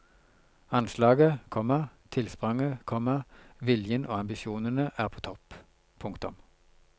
Anslaget, komma tilspranget, komma viljen og ambisjonene er på topp. punktum